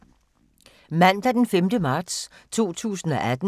Mandag d. 5. marts 2018